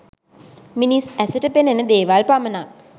මිනිස් ඇසට පෙනෙන දේවල් පමණක්